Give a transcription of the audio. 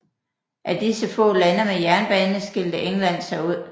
Af disse få lande med jernbane skilte England sig ud